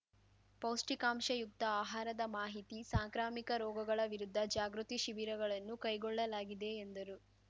ಪೌಷ್ಟಿಕಾಂಶಯುಕ್ತ ಆಹಾರದ ಮಾಹಿತಿ ಸಾಂಕ್ರಾಮಿಕ ರೋಗಗಳ ವಿರುದ್ದ ಜಾಗೃತಿ ಶಿಬಿರಗಳನ್ನು ಕೈಗೊಳ್ಳಲಾಗಿದೆ ಎಂದರು